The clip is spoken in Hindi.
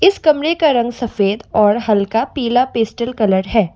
इस कमरे का रंग सफेद और हल्का पीला पेस्टल कलर है।